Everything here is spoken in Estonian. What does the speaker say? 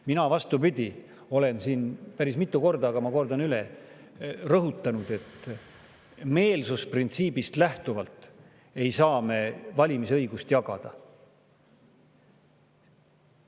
Mina, vastupidi, olen siin päris mitu korda rõhutanud, aga ma kordan üle, et meelsusprintsiibist lähtuvalt ei saa me valimisõigust jagada.